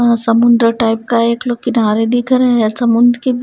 यहां समुद्र टाइप का एक लोग किनारे दिख रहे है समुद्र के बी--